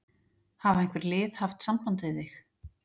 Hafa einhver lið haft samband við þig?